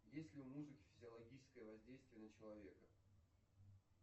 есть ли у музыки физиологическое воздействие на человека